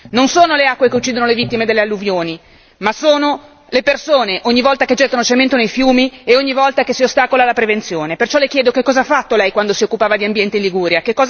Non sono le acque che uccidono le vittime delle alluvioni, ma sono le persone ogni volta che gettono cemento nei fiumi e ogni volta che si ostacola la prevenzione, perciò le chiedo che cosa ha fatto lei quando si occupava di ambiente in Liguria?